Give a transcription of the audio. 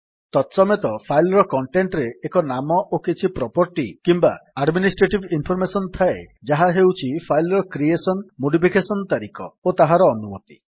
ତତସମେତ file ର content ରେ ଏକ ନାମ ଓ କିଛି ପ୍ରପର୍ଟି କିମ୍ୱା ଆଡମିନିଷ୍ଟ୍ରେଟିଭ୍ ଇନ୍ଫର୍ମେସନ୍ ଥାଏ ଯାହା ହେଉଛି ଫାଇଲ୍ ର କ୍ରିଏଶନ୍ମୋଡିଫିକେଶନ୍ ତାରିଖ ଓ ତାହାର ଅନୁମତି